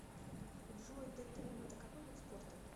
джой дтм это какой вид спорта